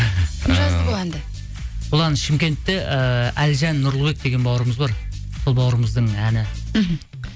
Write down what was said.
ыыы кім жазды бұл әнді бұл әнді шымкентте ыыы әлжан нұрлыбек деген бауырымыз бар сол бауырымыздың әні мхм